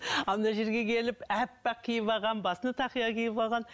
ал мына жерге келіп аппақ киіп алған басына тақия киіп алған